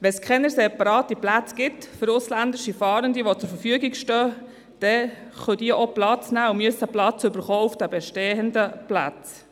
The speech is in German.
Wenn keine separaten Plätze für ausländische Fahrende zur Verfügung stehen, dann können diese auch Platz beanspruchen und müssen Platz erhalten auf den bestehenden Plätzen.